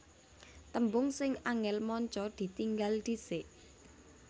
Tembung sing angel manca ditinggal dhisik